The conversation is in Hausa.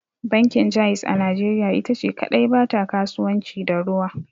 Bankin Jaiz a najeriya ita ce kadai ba ta kasuwanci da ruwa.